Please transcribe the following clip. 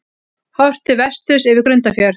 Horft til vesturs yfir Grundarfjörð.